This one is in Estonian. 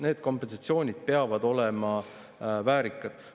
Need kompensatsioonid peavad olema väärikad.